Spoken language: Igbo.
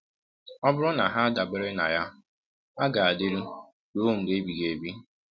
Ọ bụrụ na ha adabere na ya, ha ga-adịru “ruo mgbe ebighị ebi.